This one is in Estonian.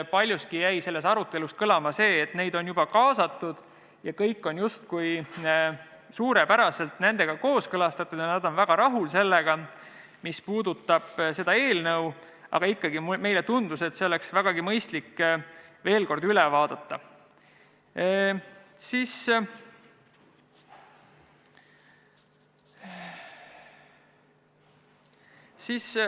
Paljuski jäi selles arutelus kõlama see, et neid on juba kaasatud ja kõik on justkui suurepäraselt nendega kooskõlastatud ja nad on väga rahul sellega, mis puudutab seda eelnõu, aga ikkagi meile tundus, et oleks vägagi mõistlik see veel kord üle vaadata.